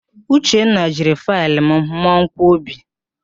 Uchenna jiri faịlụ mụọ mmanwkọbi